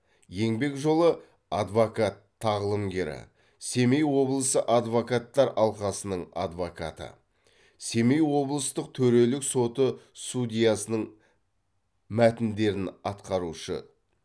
еңбек жолы адвокат тағылымгері семей облысы адвокаттар алқасының адвокаты семей облыстық төрелік соты судьясының мәтіндерін атқарушы